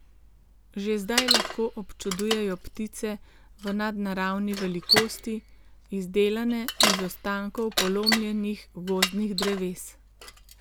Že zdaj lahko občudujejo ptice v nadnaravni velikosti, izdelane iz ostankov polomljenih gozdnih dreves.